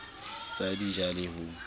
sa di ja le ho